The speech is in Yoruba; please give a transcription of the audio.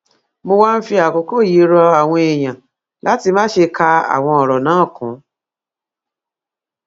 mo wá ń fi àkókò yìí rọ àwọn èèyàn láti má ṣe ka àwọn ọrọ náà kún